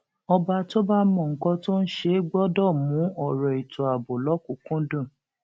ọba tó bá mọ nǹkan tó ń ṣe gbọdọ mú ọrọ ètò ààbò lọkùnkúndùn